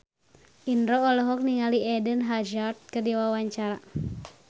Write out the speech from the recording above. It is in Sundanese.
Indro olohok ningali Eden Hazard keur diwawancara